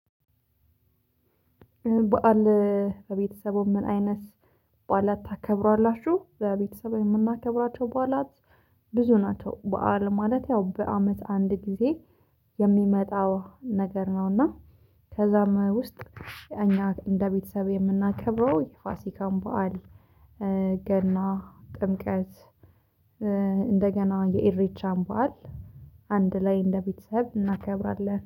በዓል በቤተሰቡ ምን አይነት በዓላት ታከብራላችሁ? በቤተሰብ የምናከብራቸው በዓላት ብዙ ናቸው። በዓል ማለት ያው በአመት አንድ ጊዜ የሚመጣው ነገር ነውና ከዛም ውስጥ እኛ እንደ ቤተሰብ የምናከብረው የፋሲካን በዓል። ገና ጥምቀት። እንደገና የኢሪቻን በዓል። አንድ ላይ እንደ ቤተሰብ እናከብራለን